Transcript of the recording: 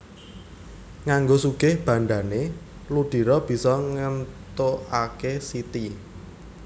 Nganggo sugih bandhané Ludiro bisa ngéntukaké Siti